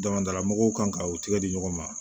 Damadala mɔgɔw kan ka u tigɛ di ɲɔgɔn ma